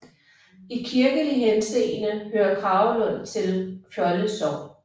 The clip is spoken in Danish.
I kirkelig henseende hører Kragelund til Fjolde Sogn